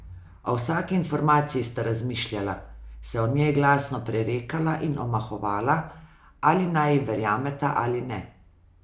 O vsaki informaciji sta razmišljala, se o njej glasno prerekala in omahovala, ali naj ji verjameta ali ne.